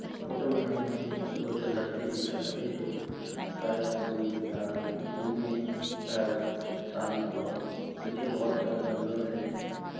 Photo में हमें दो जलहस्ती दिख रहा है जो शायद कोई अ जू में है सामने बहुत पीछे बहुत सारा जंगल है।